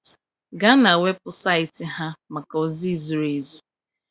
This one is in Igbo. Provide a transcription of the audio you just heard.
Gaa na weebụsaịtị ha maka ozi zuru ezu.